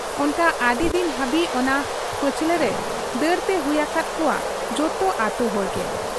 ᱚᱱᱠᱟ ᱟᱹᱰᱤᱫᱤᱱ ᱦᱟᱹᱵᱤᱡ ᱚᱱᱟ ᱯᱟᱹᱪᱷᱞᱟᱹᱨᱮ ᱫᱟᱹᱲᱛᱮ ᱦᱩᱭ ᱟᱠᱚᱦᱟᱫ ᱠᱚᱣᱟ ᱡᱚᱛᱚ ᱟᱹᱛᱩᱭᱦᱚᱲ ᱜᱮ ᱾